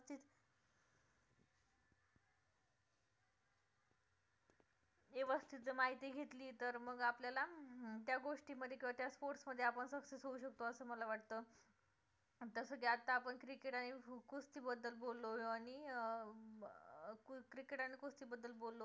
व्यवस्थित जर माहिती घेतली तर मंग आपल्याला त्या गोष्टी मध्ये कळते त्या sports मध्ये आपण success होऊ शकतो असं मला वाटतं जसं की आपण आता cricket आणि कुस्ती बद्दल बोललो आणि अं cricket आणि कुस्ती बद्दल बोललो